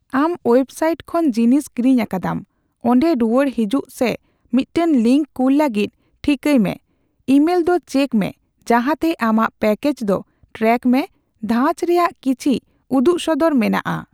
ᱟᱢ ᱳᱭᱮᱵᱥᱟᱭᱤᱴ ᱠᱷᱚᱱ ᱡᱤᱱᱤᱥ ᱠᱤᱨᱤᱧ ᱟᱠᱟᱫᱟᱢ, ᱚᱸᱰᱮ ᱨᱩᱣᱟᱹᱲ ᱦᱮᱡᱩᱜ ᱥᱮ ᱢᱤᱫᱴᱟᱝ ᱞᱤᱝᱠ ᱠᱩᱞ ᱞᱟᱹᱜᱤᱫ ᱴᱷᱤᱠᱟᱹᱭᱢᱮ ᱤᱢᱮᱞᱫᱚ ᱪᱮᱠ ᱢᱮ ᱡᱟᱦᱟᱸᱛᱮ ᱟᱢᱟᱜ ᱯᱮᱠᱮᱡ ᱫᱚ ᱴᱨᱮᱠ ᱢᱮ ᱫᱷᱟᱸᱪ ᱨᱮᱭᱟᱜ ᱠᱤᱪᱷᱤ ᱩᱫᱩᱜᱥᱚᱫᱚᱨ ᱢᱮᱱᱟᱜᱼᱟ ᱾